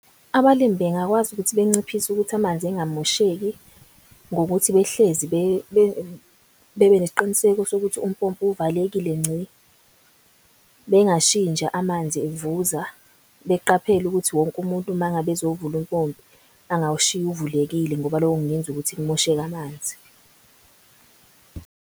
Abalimi bengakwazi ukuthi benciphise ukuthi amanzi engamosheki ngokuthi behlezi bebenesiqiniseko sokuthi umpompi uvalelekile nci. Bengashiyi nje amanzi evuza, beqaphele ukuthi wonke umuntu mangabe ezovula umpompi angawushiyi uvulekile ngoba loko kungenza ukuthi kumosheke amanzi.